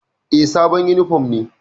E, sabon yunifom ne.